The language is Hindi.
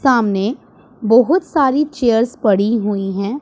सामने बहुत सारी चेयर्स पड़ी हुई है।